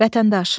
Vətəndaş.